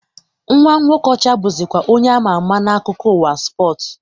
Nwa nwoke Okọcha bụzikwa onye ama ama n'akụkọ ụwa spọsu